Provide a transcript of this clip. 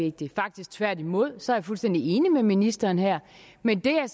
vigtig faktisk tværtimod så jeg er fuldstændig enig med ministeren her men det jeg